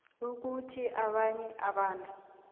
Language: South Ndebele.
ukuthi abanye abantu